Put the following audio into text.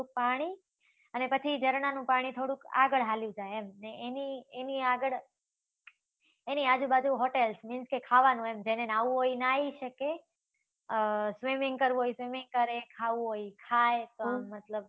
પાણી. અને પછી ઝરણાંનું પાણી થોડુંક આગળ હાલ્યુ જાય એમ. અને એની એની આગળ, એની આજુ બાજુ hotels means કે ખાવાનું એમ. જેને ન્હાવું હોય એ ન્હાઈ શકે, swimming કરવું હોય એ swimming કરે, ખાવું હોય એ ખાય. મતલબ